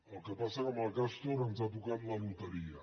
el que passa és que amb el castor ens ha tocat la loteria